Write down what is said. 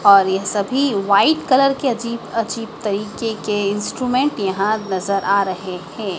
और यह सभी वाइट कलर के अजीब अजीब तरीके के इंस्ट्रूमेंट यहाँ नज़र आ रहे हैं।